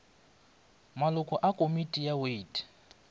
maloko a komiti ya wate